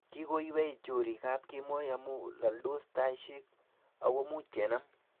Kikoiwei chorik ab kemoi amu laldos taishek akumuch kenam